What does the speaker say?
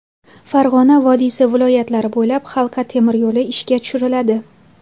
Farg‘ona vodiysi viloyatlari bo‘ylab halqa temiryo‘li ishga tushiriladi.